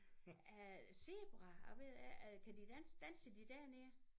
Øh Zebra jeg ved ikke kan de danse danser de dernede?